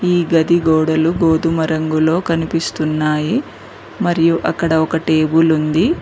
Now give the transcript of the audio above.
ఈ గది గోడలు గోధుమ రంగులో కనిపిస్తున్నాయి మరియు అక్కడ ఒక టేబుల్ ఉంది.